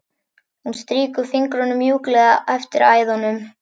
Hún strýkur fingrunum mjúklega eftir æðunum.